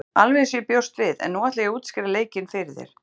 Alveg eins og ég bjóst við en nú ætla ég að útskýra leikinn fyrir þér.